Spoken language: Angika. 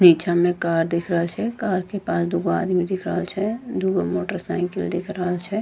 पीछा में कार दिख रहल छै कार के पास दूगो आदमी दिख रहल छै दूगो मोटरसाइकिल दिख रहल छै।